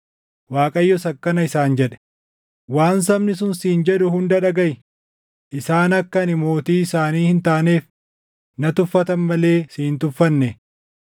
Waaqayyos akkana isaan jedhe; “Waan sabni sun siin jedhu hunda dhagaʼi; isaan akka ani mootii isaanii hin taaneef na tuffatan malee si hin tuffanne.